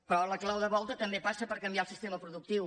però la clau de volta també passa per canviar el sistema productiu